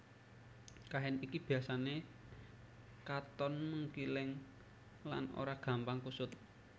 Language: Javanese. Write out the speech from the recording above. Kain iki biasané katon mengkileng lan ora gampang kusut